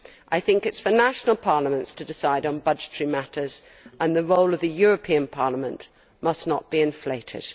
I think it is for national parliaments to decide on budgetary matters and the role of the European Parliament must not be inflated.